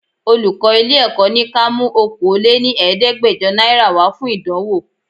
Olùkọ́ ilé Èkó ni ka mú Okòó lé ní Ẹ̀ẹ́dẹ́gbẹjọ náírà wá fún ìdánwò.